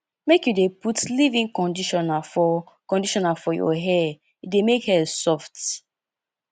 make you dey put leavein conditioner for conditioner for your hair e dey make hair soft